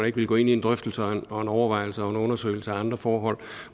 ikke ville gå ind i en drøftelse og en overvejelse og en undersøgelse af andre forhold